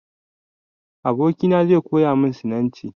Abokina zai koya min Sinanci.